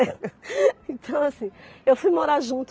Então assim, eu fui morar junto